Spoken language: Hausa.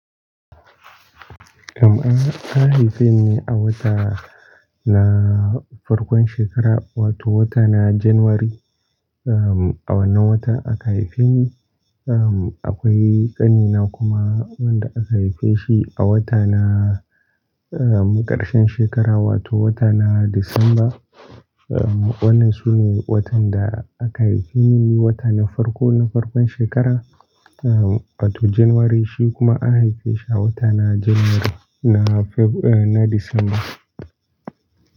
Eh, an haife ni a wata na farkon shekara, wato wata na Janairu. A wannan wata aka haife ni. Akwai ƙanina kuma wanda aka haife shi a wata na ƙarshen shekara, wato wata na Disamba. Wannan sune watan da aka haife ni, wata na farko na farkon shekara, wato Janairu, shi kuma an haife shi a wata na Janairu, na Disamba.